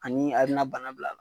Ani a bi na bana bila